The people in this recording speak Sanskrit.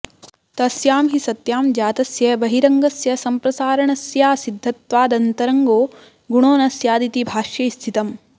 तस्यां हि सत्यां जातस्य बहिरङ्गस्य संप्रसारणस्याऽसिद्धत्वादन्तरङ्गो गुणो न स्यादिति भाष्ये स्थितम्